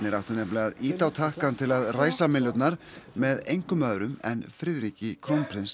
áttu nefnilega að ýta á takkann til að ræsa með engum öðrum en Friðriki krónprins